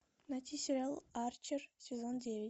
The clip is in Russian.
найти сериал арчер сезон девять